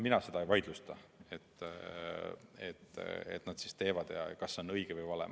Mina seda ei vaidlusta, et nad seda teevad, ega seda, kas see on õige või vale.